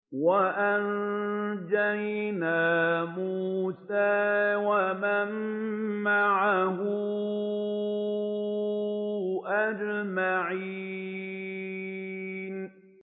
وَأَنجَيْنَا مُوسَىٰ وَمَن مَّعَهُ أَجْمَعِينَ